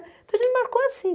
Então a gente marcou assim.